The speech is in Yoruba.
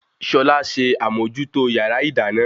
Ṣọlá ṣe àmòjútó yàrá ìdáná